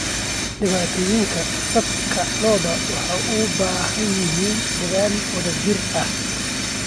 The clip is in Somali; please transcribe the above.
Dhibaatooyinka saadka lo'du waxay u baahan yihiin dadaal wadajir ah.